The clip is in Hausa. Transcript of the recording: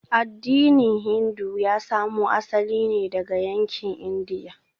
Addinin Hindu ya samo asali ne daga yankin Indiya.